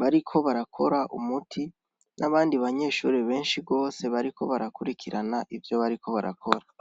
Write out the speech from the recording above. bariko barakora umuti n'abandi banyeshure benshi gose bariko barakurikirana ivyo bariko barakora.